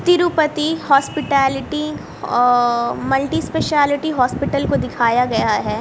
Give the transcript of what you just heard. Tirupati hospitality a multispeciality hospital को दिखाया गया है।